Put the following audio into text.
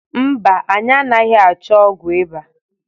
mba, anyị anghị achọ ọgwụ ịba.